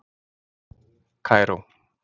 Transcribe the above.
Kaíró